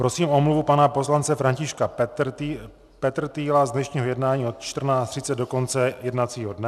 Prosím o omluvu pana poslance Františka Petrtýla z dnešního jednání od 14.30 do konce jednacího dne.